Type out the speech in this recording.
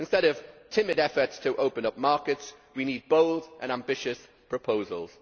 Instead of timid efforts to open up markets, we need bold and ambitious proposals.